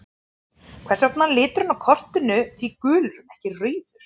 Hvers vegna var liturinn á kortinu því gulur en ekki rauður?